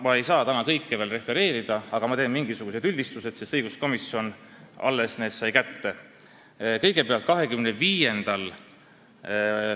Ma ei saa täna kõike veel refereerida, sest õiguskomisjon alles sai need arvamused kätte, aga ma teen mingisugused üldistused.